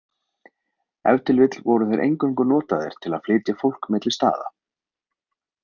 Ef til vill voru þeir eingöngu notaðir til að flytja fólk milli staða.